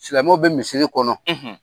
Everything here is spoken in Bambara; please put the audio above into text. Silamɛw bɛ misiri kɔnɔ,